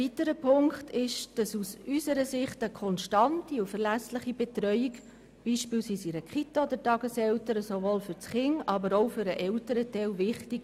Zweitens ist eine konstante und verlässliche Betreuung in einer Kita oder bei Tageseltern für ein Kind wichtig.